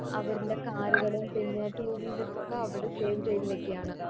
അവര്ൻറെ car കളും പിന്നെ two wheelers ഒക്കെ അവിടെ save ചെയ്ത് വെക്കാണ്